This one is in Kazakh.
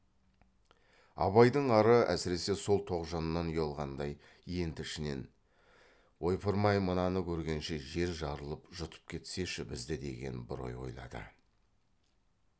абайдың ары әсіресе сол тоғжаннан ұялғандай енді ішінен ойпырмай мынаны көргенше жер жарылып жұтып кетсеші бізді деген бір ой ойлады